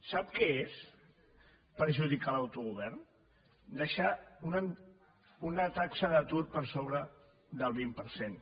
sap què és perjudicar l’autogovern deixar una taxa d’atur per sobre del vint per cent